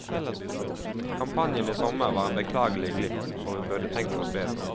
Kampanjen i sommer var en beklagelig glipp, hvor vi burde tenkt oss bedre om.